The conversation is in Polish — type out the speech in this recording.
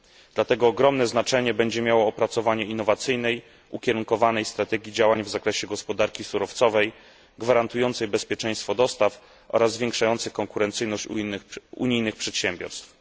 Dlatego ogromne znaczenie będzie miało opracowanie innowacyjnej, ukierunkowanej strategii działań w zakresie gospodarki surowcowej gwarantującej bezpieczeństwo dostaw oraz zwiększającej konkurencyjność unijnych przedsiębiorstw.